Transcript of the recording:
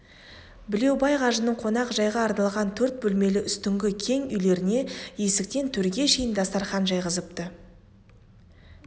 білеубай қажының қонақ жайға арналған төрт бөлмелі үстіңгі кең үйлеріне есіктен төрге шейін дастарқан жайғызыпты